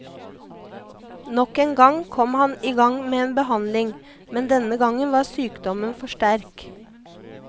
Nok en gang kom han i gang med en behandling, men denne gangen var sykdommen for sterk.